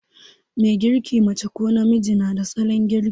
Mai girki, mace ko namiji, na da salon girki.